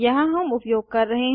यहाँ हम उपयोग कर रहे हैं